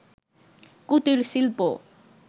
কুটির শিল্প